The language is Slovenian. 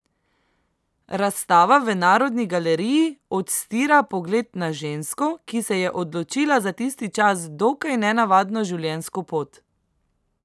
Razstava v Narodni galeriji odstira pogled na žensko, ki se je odločila za tisti čas dokaj nenavadno življenjsko pot.